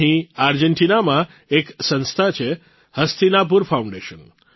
અહીં આર્જેન્ટીનામાં એક સંસ્થા છે હસ્તિનાપુર ફાઉન્ડેશન